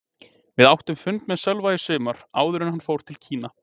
Við áttum fund með Sölva í sumar, áður en hann fór til Kína.